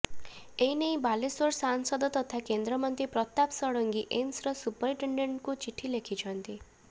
ଏ ନେଇ ବାଲେଶ୍ୱର ସାଂସଦ ତଥା କେନ୍ଦ୍ରମନ୍ତ୍ରୀ ପ୍ରତାପ ଷଡଙ୍ଗୀ ଏମ୍ସର ସୁପରିଟେଣ୍ଡେଣ୍ଟଙ୍କୁ ଚିଠି ଲେଖିଛନ୍ତି